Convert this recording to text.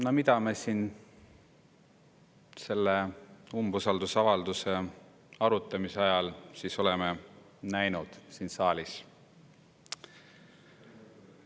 No mida me selle umbusaldusavalduse arutamise ajal oleme näinud siin saalis?